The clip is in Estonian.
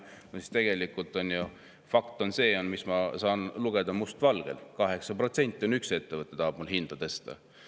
Ent tegelikult on ju fakt see, mida ma lugesin must valgel: 8% tahab üks ettevõte mul hinda tõsta.